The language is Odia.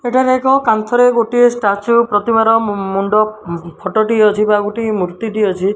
ଏଠାରେ ଏକ କାନ୍ଥ ରେ ଗୋଟିଏ ସ୍ଟାଚୁ ପ୍ରତିମା ର ମୁଣ୍ଡ ଫୋଟୋ ଟିଏ ଅଛି ବା ଗୋଟିଏ ମୂର୍ତ୍ତି ଟିଏ ଅଛି।